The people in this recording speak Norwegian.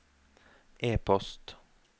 e-post